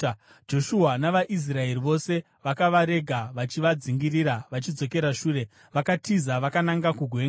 Joshua navaIsraeri vose vakavarega vachivadzingirira vachidzokera shure, vakatiza vakananga kugwenga.